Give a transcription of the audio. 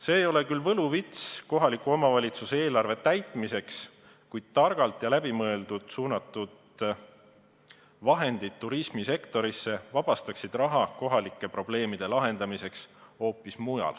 See ei ole küll võluvits kohaliku omavalitsuse eelarve täitmiseks, kuid targalt ja läbimõeldult turismisektorisse suunatud vahendid vabastaksid raha kohalike probleemide lahendamiseks.